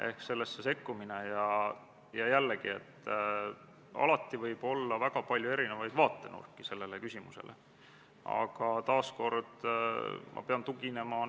Käesoleva eelnõu esitas Vabariigi Valitsus Riigikogule k.a 10. septembril, esimene lugemine oli 25. septembril.